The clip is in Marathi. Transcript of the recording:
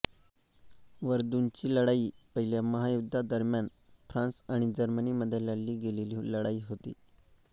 व्हर्दुनची लढाई पहिल्या महायुद्धादरम्यान फ्रांस आणि जर्मनी मध्ये लढली गेलेली लढाई होती